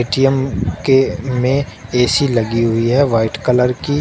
ऐ_ टी_म के में ए_सी लगी हुई है वाइट कलर की।